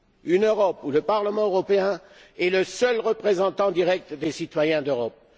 Une Europe où le Parlement européen est le seul représentant direct des citoyens d'Europe.